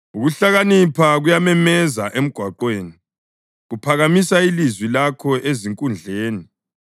Ukuhlakanipha kuyamemeza emgwaqweni, kuphakamisa ilizwi lakho ezinkundleni;